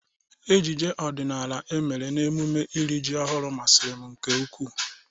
Ejije ọdịnala e mere n'emụme iri jị ọhụru masịrị m nke ukw,u.